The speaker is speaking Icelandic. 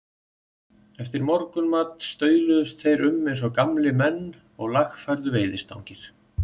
Eftir morgunmat stauluðust þeir um eins og gamlir menn og lagfærðu veiðistangir.